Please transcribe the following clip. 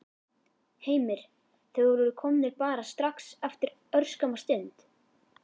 Heimir: Þeir voru komnir bara strax eftir örskamma stund?